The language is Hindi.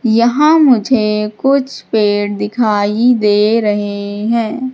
यहां मुझे कुछ पेड़ दिखाई दे रहे है।